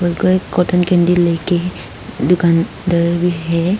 उनका एक cotton candy लेके दुकान दौरी है।